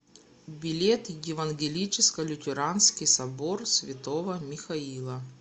билет евангелическо лютеранский собор святого михаила